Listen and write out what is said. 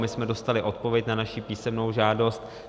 My jsme dostali odpověď na naši písemnou žádost.